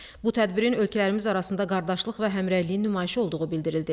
Bu tədbirin ölkələrimiz arasında qardaşlıq və həmrəyliyin nümayişi olduğu bildirildi.